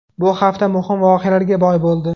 Bu hafta muhim voqealarga boy bo‘ldi.